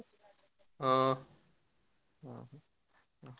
ହଁ।